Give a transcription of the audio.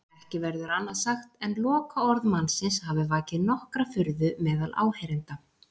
Ekki verður annað sagt en lokaorð mannsins hafi vakið nokkra furðu meðal áheyrenda.